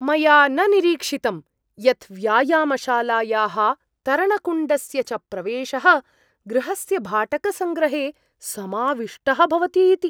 मया न निरीक्षितं यत् व्यायामशालायाः तरणकुण्डस्य च प्रवेशः गृहस्य भाटकसङ्ग्रहे समाविष्टः भवति इति।